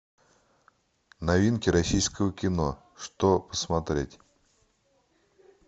новинки российского кино что посмотреть